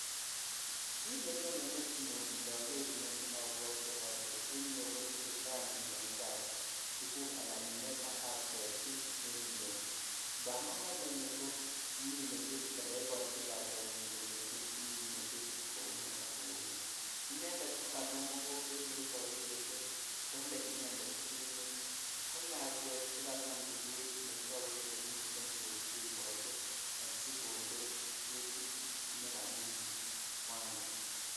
Kit nenyone metinyun indoor nii abwote ole i en yuu kotesetai kominet ab tuguk ala minet ab getiken iyeu bamongo in komine getit ala iborchin lakwenyin kolechin kinee getit ku uni ak kuu ni inended kokanam mogonbet neiboru kele bole inended geringet ako lakwet teret netagu ke miten bek cheibote asikonde nekamin kwandaa .